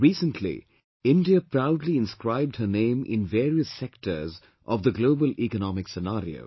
Recently India proudly inscribed her name in various sectors of the global economic scenario